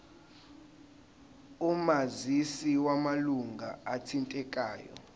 omazisi wamalunga athintekayo